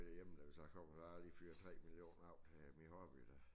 Derhjemme hvis jeg kommer jeg har lige fyret 3 millioner af til min hobby der